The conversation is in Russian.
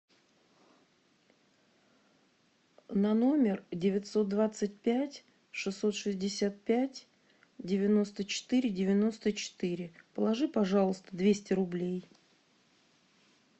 на номер девятьсот двадцать пять шестьсот шестьдесят пять девяносто четыре девяносто четыре положи пожалуйста двести рублей